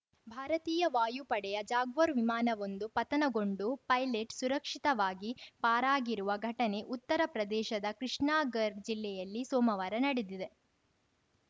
ಭಾರತೀಯ ವಾಯುಪಡೆಯ ಜಾಗ್ವಾರ್‌ ವಿಮಾನವೊಂದು ಪತನಗೊಂಡು ಪೈಲಟ್‌ ಸುರಕ್ಷಿತವಾಗಿ ಪಾರಾಗಿರುವ ಘಟನೆ ಉತ್ತರ ಪ್ರದೇಶದ ಕೃಷ್ಣಾಗರ್‌ ಜಿಲ್ಲೆಯಲ್ಲಿ ಸೋಮವಾರ ನಡೆದಿದೆ